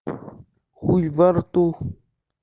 хуй во рту